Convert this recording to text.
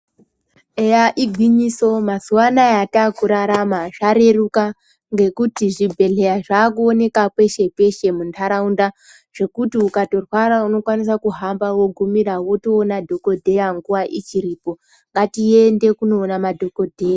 Eya igwinyiso mazuva anaya ata kurarama zvareruka ngekuti zvibhehleya zvaakuoneka peshe peshe munharaunda zvekuti ukatorwara unotokwanisa kuhamba wogumira wotoona dhokodheya nguva ichiripo, ngatiende koona madhokodheya.